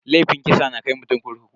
Laifin kisa na kai mutum kurkuku.